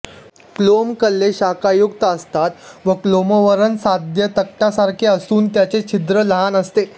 क्लोम कल्ले शाखायुक्त असतात व क्लोमावरण साध्या तकटासारखे असून त्याचे छिद्र लहान असते